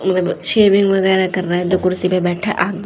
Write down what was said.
shaving वगैरा कर रहा है दो कुर्सी पे बैठा आ--